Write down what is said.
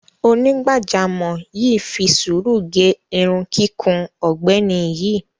Onígbàjámọ̀ yìí fi sùúrù gẹ irun kíkún ọ̀gbẹ́ni yìí.